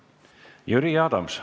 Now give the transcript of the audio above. Jüri Adams.